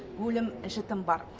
өлім жітім бар